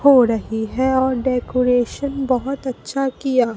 हो रही है और डेकोरेशन बहुत अच्छा किया।